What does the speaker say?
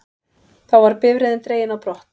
Þá var bifreiðin dregin á brott